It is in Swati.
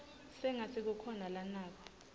sengatsi kukhona lanako